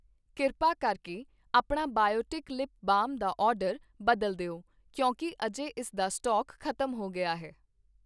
ਕਿਰਪਾ ਕਰਕੇ ਆਪਣਾ ਬਾਇਓਟਿਕ ਲਿਪ ਬਾਮ ਦਾ ਆਰਡਰ ਬਦਲ ਦਿਓ ਕਿਉਂਕਿ ਅਜੇ ਇਸ ਦਾ ਸਟਾਕ ਖ਼ਤਮ ਹੋ ਗਿਆ ਹੈ